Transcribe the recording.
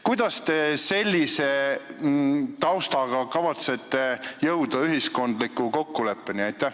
Kuidas te kavatsete sellise taustaga ühiskondliku kokkuleppeni jõuda?